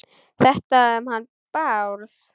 Þetta um hann Bárð?